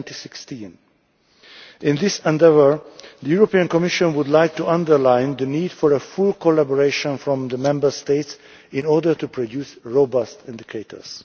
2016. In this endeavour, the Commission would like to underline the need for a full collaboration from the Member States in order to produce robust indicators.